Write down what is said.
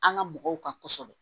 An ga mɔgɔw ka kɔsɔbɛ